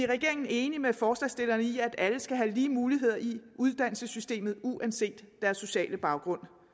regeringen enige med forslagsstillerne i at alle skal have lige muligheder i uddannelsessystemet uanset deres sociale baggrund